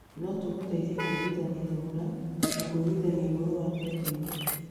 No tũgũteithie kũiguithania thogora na kũiguithania ũhoro wa kwendia indo.